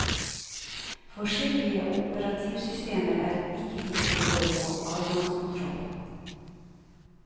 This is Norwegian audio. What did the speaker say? Forskjellige operativsystemer er ikke like gode på adgangskontroll.